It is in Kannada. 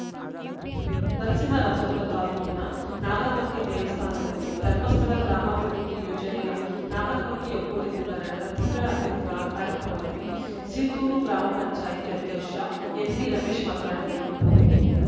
ನರಸಿಂಹರಾಜಪುರ ತಾಲೂಕಿನ ನಾಗರಮಕ್ಕಿ ದೇವಸ್ಥಾನದಲ್ಲಿ ಧರ್ಮಸ್ಥಳ ಗ್ರಾಮಾಭಿವೃದ್ಧಿ ಯೋಜನೆಯ ನಾಗರಮಕ್ಕಿ ಒಕ್ಕೂಟದಿಂದ ನಡೆದ ತಿಂಗಳ ಅತಿಥಿ ಕ್ರ ಕಾರ್ಯಕ್ರಮದಲ್ಲಿ ಸೀತೂರು ಗ್ರಾಮ ಪಂಚಾಯತ್ ಅಧ್ಯಕ್ಷ ಎನ್‌ಪಿರಮೇಶ್‌ ಮಾತನಾಡಿದರು